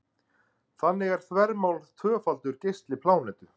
þannig er þvermál tvöfaldur geisli plánetu